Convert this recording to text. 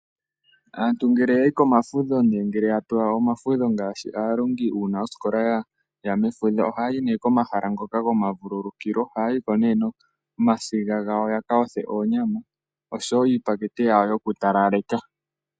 Aantu ngele yayi komafudho nenge ngele ya pewa omafudho ngaashi aalongi uuna oosikola yaya mefudho, ohaya yi nee komahala ngoka goma vululukilo ohaya yiko nee nomasiga gawo yaka yothe oonyama oshowo iipakete yawo yoku talaleka.